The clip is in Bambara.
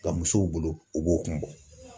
Nka musow bolo, u b'o kun bɔ.